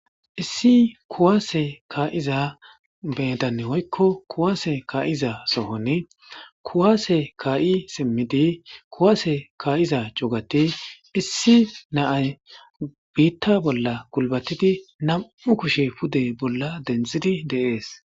Issi kuwasse ka'zza medan woykko kuwasse ka'zza sohon kuwasse ka'i simidi kuwasse ka'zza cuggathi issi nayi bita bolla gulbathidi nammu' kushe pude bolla denthidi de'ss.